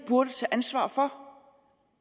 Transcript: burde tage ansvar for